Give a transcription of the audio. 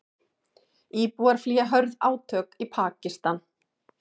Íbúar flýja hörð átök í Pakistan